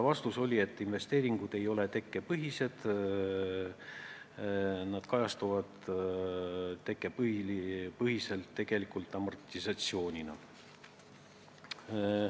Vastus: investeeringud ei ole tekkepõhised, need kajastuvad tekkepõhiselt tegelikult amortisatsioonina.